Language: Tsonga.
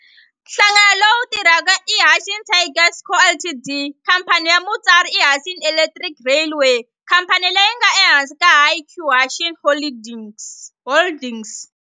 Nhlangano lowu tirhaka i Hanshin Tigers Co., Ltd. Khamphani ya mutswari i Hanshin Electric Railway khamphani leyi nga ehansi ka Hankyu Hanshin Holdings.